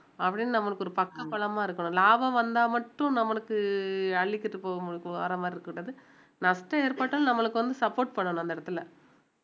அப்படின்னு நம்மளுக்கு ஒரு பக்கபலமா இருக்கணும் லாபம் வந்தா மட்டும் நம்மளுக்கு அள்ளிக்கிட்டு வர மாதிரி இருக்கக் கூடாது நஷ்டம் ஏற்பட்டாலும் நம்மளுக்கு வந்து support பண்ணணும் அந்த இடத்துல